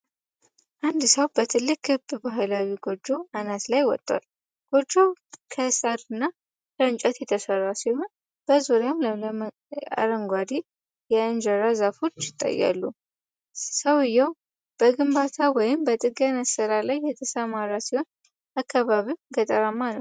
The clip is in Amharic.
አንድ ሰው በትልቅ ክብ ባህላዊ ጎጆ አናት ላይ ወጥቷል። ጎጆው ከሳርና እንጨት የተሰራ ሲሆን፣ በዙሪያው ለምለም አረንጓዴ የእንጀራ ዛፎች ይታያሉ። ሰውየው በግንባታ ወይም በጥገና ሥራ ላይ የተሰማራ ሲሆን፣ አካባቢው ገጠራማ ነው።